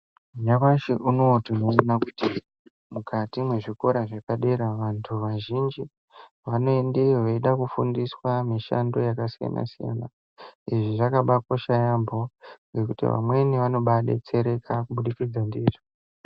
Nyamashi unowu tinoona kuti, mukati mwezvikora zvepadera vanthu vazhinji vanoendeyo veida kufundiswa mishando yakasiyana-siyana. Izvi zvakabaakosha yaampho ngekuti vamweni vanombaadetsereka kubudikidza ndizvo.